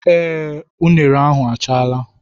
Ee, unine ahụ achaala.